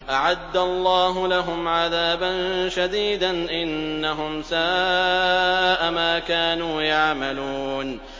أَعَدَّ اللَّهُ لَهُمْ عَذَابًا شَدِيدًا ۖ إِنَّهُمْ سَاءَ مَا كَانُوا يَعْمَلُونَ